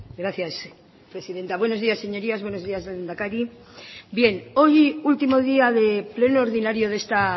gracias presidenta buenos días señorías buenos días lehendakari bien hoy último día de pleno ordinario de esta